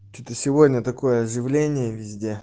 ты сегодня такое заявление везде